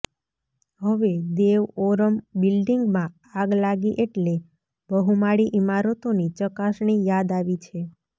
હવે દેવઓરમ બિલ્ડીંગમાં આગ લાગી એટલે બહુમાળી ઇમારતોની ચકાસણી યાદ આવી છે